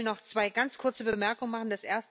Ich will noch zwei ganz kurze Bemerkungen machen.